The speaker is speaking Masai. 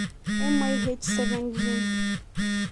MYH7 gene.